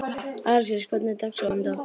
Alexis, hvernig er dagskráin í dag?